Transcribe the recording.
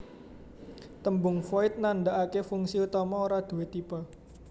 Tembung Void nandhakaké fungsi utama ora duwé tipe